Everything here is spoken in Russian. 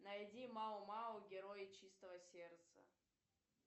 найди мао мао герои чистого сердца